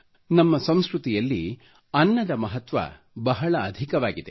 ನಮ್ಮ ಸಂಸ್ಕೃತಿಯಲ್ಲಿ ಅನ್ನದ ಮಹತ್ವ ಬಹಳ ಅಧಿಕವಾಗಿದೆ